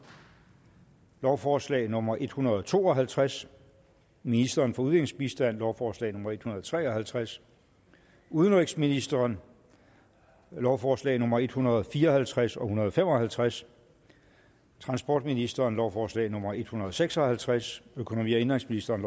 lovforslag nummer en hundrede og to og halvtreds ministeren for udviklingsbistand lovforslag nummer en hundrede og tre og halvtreds udenrigsministeren lovforslag nummer en hundrede og fire og halvtreds og hundrede og fem og halvtreds transportministeren lovforslag nummer en hundrede og seks og halvtreds økonomi og indenrigsministeren